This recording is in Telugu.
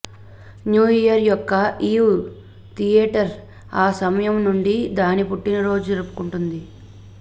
న్యూ ఇయర్ యొక్క ఈవ్ థియేటర్ ఆ సమయం నుండి దాని పుట్టినరోజు జరుపుకుంటుంది